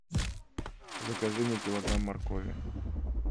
закажи мне килограмм моркови